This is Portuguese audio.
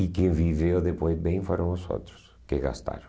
E quem viveu depois bem foram os outros que gastaram.